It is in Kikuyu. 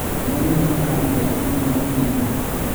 Nĩwonire makari maingĩ mauma rainiinĩ?